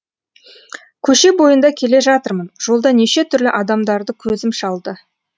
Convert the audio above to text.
көше бойында келе жатырмын жолда неше түрлі адамдарды көзім шалды